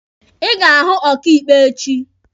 Ị ga-ahụ ọkaịkpe echi!